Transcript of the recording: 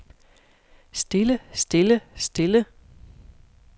stille stille stille